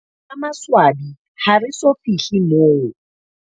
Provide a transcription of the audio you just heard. Ka maswabi, ha re so fihle moo.